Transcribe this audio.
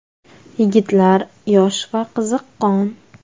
Yigitlar yosh va qiziqqon.